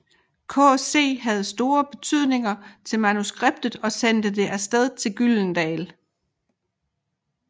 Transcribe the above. KC havde store forventninger til manuskriptet og sendte det af sted til Gyldendal